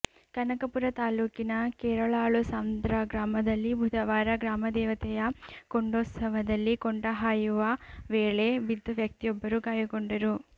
ಕನಕಪುರ ತಾಲ್ಲೂಕಿನ ಕೆರಳಾಳುಸಂದ್ರ ಗ್ರಾಮದಲ್ಲಿ ಬುಧವಾರ ಗ್ರಾಮದೇವತೆಯ ಕೊಂಡೋತ್ಸವದಲ್ಲಿ ಕೊಂಡ ಹಾಯುವ ವೇಳೆ ಬಿದ್ದು ವ್ಯಕ್ತಿಯೊಬ್ಬರು ಗಾಯಗೊಂಡರು